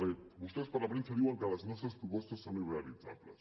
perquè vostès per la premsa diuen que les nostres propostes són irrealitzables